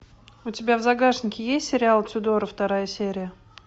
у тебя в загашнике есть сериал тюдоры вторая серия